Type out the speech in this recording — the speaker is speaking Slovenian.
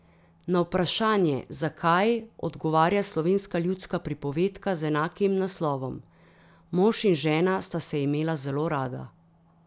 Na vprašanje, zakaj, odgovarja slovenska ljudska pripovedka z enakim naslovom: 'Mož in žena sta se imela zelo rada.